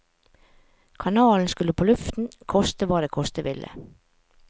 Kanalen skulle på luften, koste hva det koste ville.